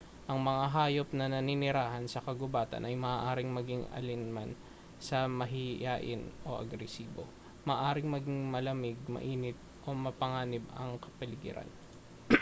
ang mga hayop na naninirahan sa kagubatan ay maaaring maging alinman sa mahiyain o agresibo maaaring maging malamig mainit o mapanganib ang kapaligiran